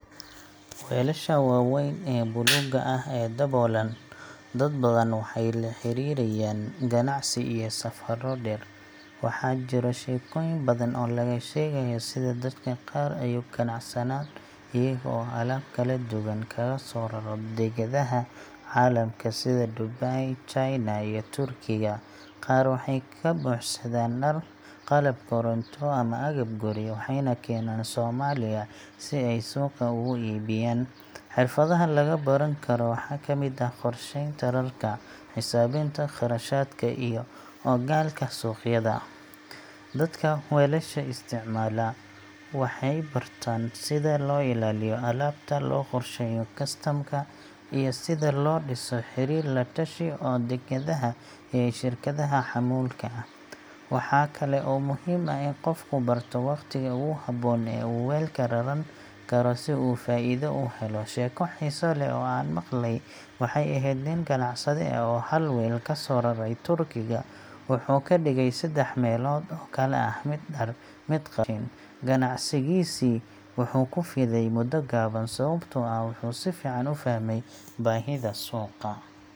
Weelasha waaweyn ee buluuga ah ee daboolan, dad badan waxay la xiriiriyaan ganacsi iyo safarro dheer. Waxaa jira sheekooyin badan oo laga sheegayo sida dadka qaar ay uga ganacsadaan, iyaga oo alaab kala duwan kaga soo raro dekedaha caalamka sida Dubai, China, iyo Turkiga. Qaar waxay ka buuxsadaan dhar, qalab koronto, ama agab guri, waxayna keenaan Soomaaliya si ay suuqa uga iibiyaan. Xirfadaha lagu baran karo waxaa kamid ah qorsheynta rarka, xisaabinta kharashaadka, iyo ogaalka suuqyada. Dadka weelasha isticmaala waxay bartaan sida loo ilaaliyo alaabta, loo qorsheeyo kastamka, iyo sida loo dhiso xiriir la-tashi oo dekedaha iyo shirkadaha xamuulka ah. Waxaa kale oo muhiim ah in qofku barto waqtiga ugu habboon ee uu weelka raran karo si uu faa’iido u helo. Sheeko xiiso leh oo aan maqlay waxay ahayd nin ganacsade ah oo hal weel kasoo raray Turkiga, wuxuu ka dhigay saddex meelood oo kala ah: mid dhar, mid qalab, mid raashin. Ganacsigiisii wuxuu ku fiday muddo gaaban sababtoo ah wuxuu si fiican u fahmay baahida suuqa.